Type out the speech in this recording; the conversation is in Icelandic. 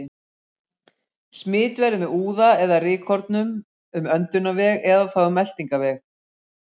Smit verður með úða eða rykkornum um öndunarveg eða þá um meltingarveg.